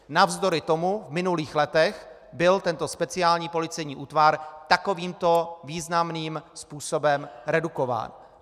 Navzdory tomu v minulých letech byl tento speciální policejní útvar takovýmto významným způsobem redukován.